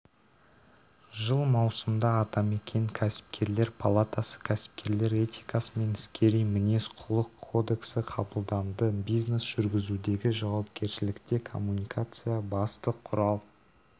жыл маусымда атамекен кәсіпкерлер палатасы кәсіпкерлер этикасы мен іскери мінез-құлық кодексіқабылданды бизнес жүргізудегі жауапкершілікте коммуникация басты құрал